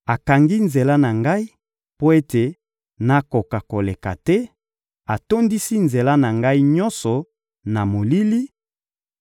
Akangi nzela na ngai mpo ete nakoka koleka te, atondisi nzela na ngai nyonso na molili,